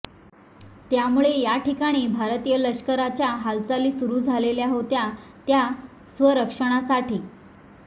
त्यामुळे या ठिकाणी भारतीय लष्कराच्या हालचाली सुरू झालेल्या होत्या त्या स्वसंरक्षणासाठी